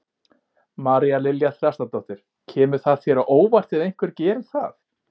María Lilja Þrastardóttir: Kemur það þér á óvart ef einhver geri það?